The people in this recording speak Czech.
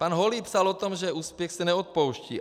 Pan Holý psal o tom, že úspěch se neodpouští.